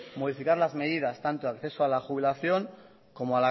modificar las medidas tanto de acceso de a la jubilación como